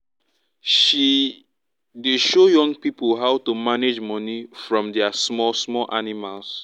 she dey show young pipo how to manage money from dia small small animals